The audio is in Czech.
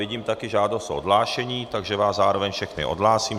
Vidím taky žádost o odhlášení, takže vás zároveň všechny odhlásím.